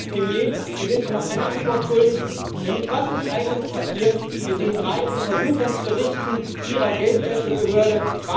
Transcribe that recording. Und Herr Premier Sie sind mir noch eine Antwort schuldig, nämlich auf die Frage Was ist eigentlich passiert mit den drei Untersuchungsberichten Ihrer Geldwäschebehörde?